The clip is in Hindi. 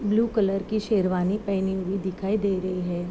ब्लू कलर की शेरवानी पहनी दिखाई दे री हैं।